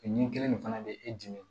Ni kelen nin fana bɛ e dimi